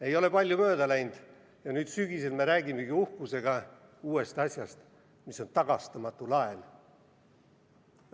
Ei ole palju aega mööda läinud ja nüüd sügisel me räägimegi uhkusega uuest asjast, mis on tagastamatu laen.